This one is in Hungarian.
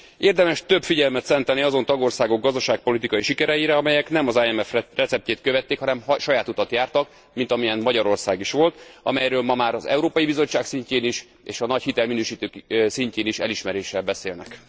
Érdemes több figyelmet szentelni azon tagországok gazdaságpolitikai sikereinek, amelyek nem az IMF receptjét követték, hanem saját utat jártak, mint amilyen Magyarország is volt, amelyről ma már az Európai Bizottság szintjén is és a nagy hitelminősítők szintjén is elismerően beszélnek.